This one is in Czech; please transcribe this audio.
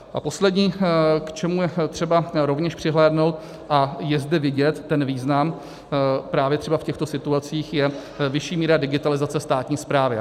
A poslední, k čemu je třeba rovněž přihlédnout, a je zde vidět ten význam právě třeba v těchto situacích, je vyšší míra digitalizace státní správy.